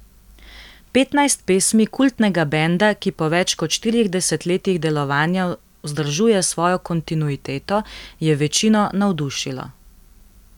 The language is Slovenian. Petnajst pesmi kultnega benda, ki po več kot štirih desetletjih delovanja vzdržuje svojo kontinuiteto, je večino navdušilo.